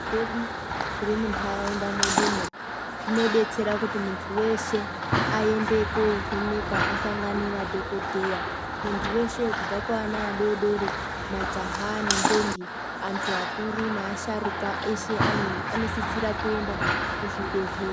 Muzvibhedhlera mwedu zvirimunharaunda mwedumwo zvinobetsera kuti muntu veshe aende kovhenekwa asangane nadhogodhleya. Muntu veshe kubva kuvana adodori, majaha nendombi antu akuru neasharukwa eshe anosisira kenda kuzvibhedhlera.